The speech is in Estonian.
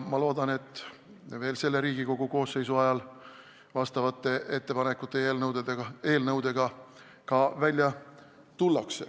Ma loodan, et veel selle Riigikogu koosseisu ajal tullakse ettepanekute ja eelnõudega välja.